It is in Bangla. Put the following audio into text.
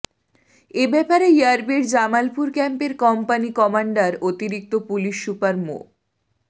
এ ব্যাপারে র্যাবের জামালপুর ক্যাম্পের কম্পানি কমান্ডার অতিরিক্ত পুলিশ সুপার মো